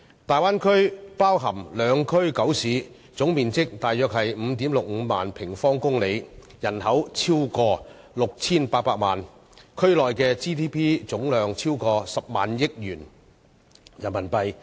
大灣區包含兩區九市，總面積約為 55,600 平方公里，人口超過 6,800 萬，區內的 GDP 總量超過10億元人民幣。